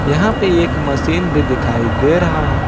यहां पे एक मशीन भी दिखाई दे रहा है।